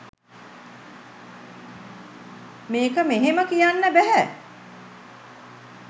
මේක මෙහෙම කියන්න බැහැ